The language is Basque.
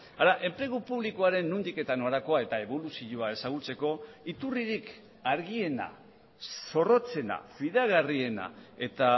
hara enplegu publikoaren nondik eta norakoa eta eboluzioa ezagutzeko iturririk argiena zorrotzena fidagarriena eta